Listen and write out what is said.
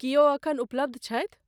की ओ एखन उपलब्ध छथि?